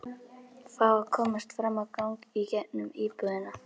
Fá að komast fram á gang í gegnum íbúðina.